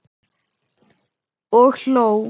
Og hló.